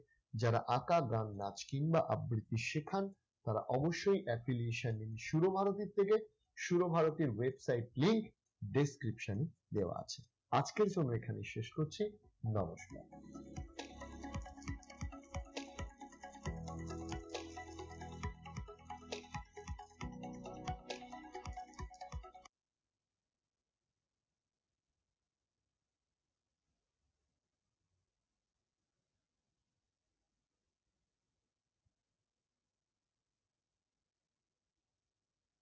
যারা আঁকা, গান, নাচ কিংবা আবৃত্তি শেখান তারা অবশ্যই affiliation নিন সুর ভারতীর থেকে। সুর ভারতীর website link description এ দেওয়া আছে। আজকের জন্য এখানেই শেষ করছি। নমস্কার।